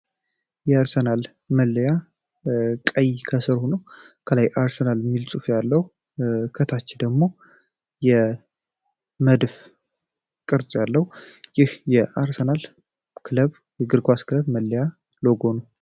የአርሰናል መለያ ቀይ ከስርሁነው ከላይ አርሰናል ሚልጽፍ ያለው ከታች ደግሞ የመድፍ ቅርጭ ያለው ይህ የአርሰናል ክለብ የግርጓስ ክለብ መለያ ሎጎ ነው